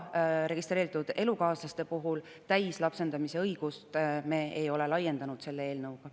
Registreeritud elukaaslastele ei ole me täislapsendamise õigust selle eelnõuga laiendanud.